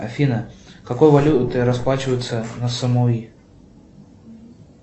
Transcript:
афина какой валютой расплачиваются на самуи